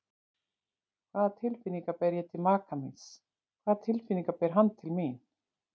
Hvaða tilfinningar ber ég til maka míns, hvaða tilfinningar ber hann til mín?